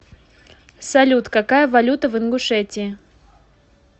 салют какая валюта в ингушетии